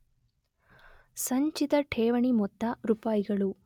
ಸಂಚಿತ ಠೇವಣಿ ಮೊತ್ತ ರೂಪಾಯಿಗಳು